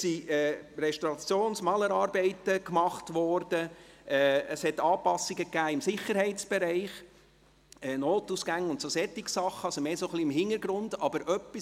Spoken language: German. Es wurden Restaurations- und Malerarbeiten gemacht, es wurden Anpassungen im Sicherheitsbereich gemacht mit Notausgängen und dergleichen, also etwas, das mehr im Hintergrund ist.